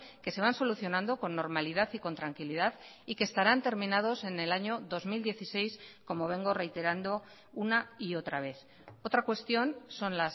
que se van solucionando con normalidad y con tranquilidad y que estarán terminados en el año dos mil dieciséis como vengo reiterando una y otra vez otra cuestión son